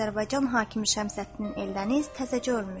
Azərbaycan hakimi Şəmsəddin Eldəniz təzəcə ölmüşdü.